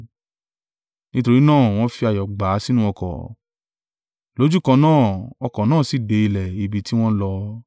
Nítorí náà wọ́n fi ayọ̀ gbà á sínú ọkọ̀; lójúkan náà ọkọ̀ náà sì dé ilẹ̀ ibi tí wọ́n ń lọ.